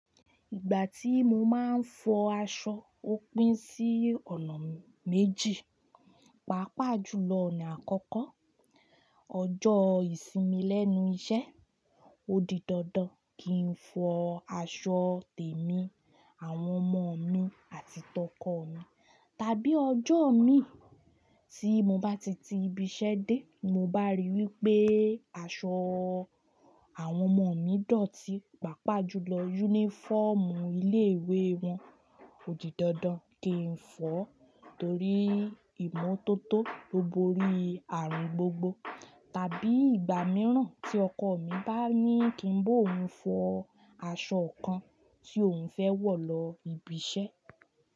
Ìgbà tí mo máa ń fọ aṣọ ó pín sí ọ̀nà méjì, pàápàá jùlọ ọ̀nà àkọ́kọ́, ọjọ́ ìsinmi lẹ́nu iṣẹ́, ó di dandan kí n fọ aṣọ tèmi, àwọn ọmọ mi àti tọkọ mi. Tàbí ọjọ́ mi tí mo bá ti ti ibi iṣẹ́ dé mo bá ríi wí pé aṣọ àwọn ọmọ mi dọ̀tí, pàápàá jùlọ yúnífọ́ọ̀mù ilé ìwé wọn, ó di dandan kí n fọ, torí ìmọ́tótó lobori ààrùn gbogbo. Tàbí ìgbà mìíràn tí ọkọ mi bá ní kí n bóun fọ aṣọ kan tí òun fẹ́ wọ̀ lọ ibi iṣẹ́